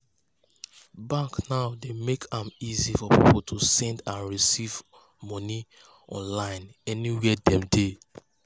banks now dey make am easy for people to send and receive money online anywhere dem they.